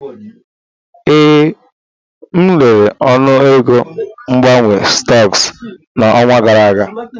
Ee, m lere ọnụego mgbanwe stọks n'ọnwa gara aga.